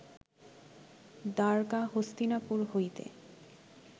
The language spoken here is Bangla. দ্বারকা হস্তিনাপুর হইতে